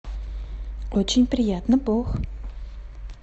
очень приятно бог